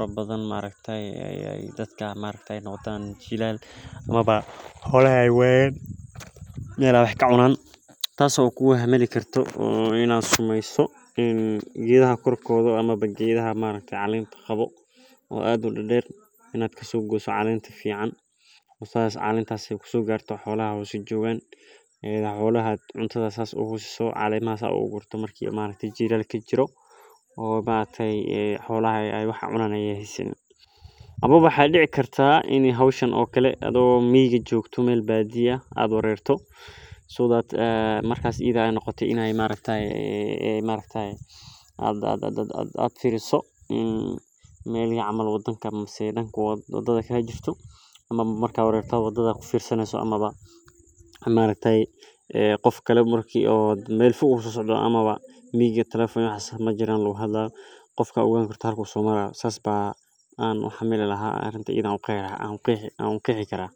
xolaha wax ee cunan ee hasanin marki xolaha laraco xolaha ee wayan meel ee wax ka cunan xolaha calemaa sas ogu gurto waqtiga jilalaka amawa waxaa dici kartaa danka wadadha kajirto ee qofkale oo meel fog aa socoto amawa aa wareto sas ban ku qexi laha waa arin aad muhiim ogu aha bulshaada.